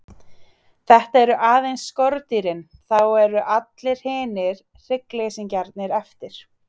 Þetta eru aðeins skordýrin, þá eru allir hinir hryggleysingjarnir eftir.